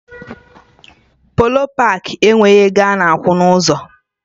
Polo paakị enweghị ego ana akwụ na ụzọ